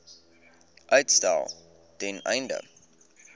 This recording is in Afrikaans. uitstel ten einde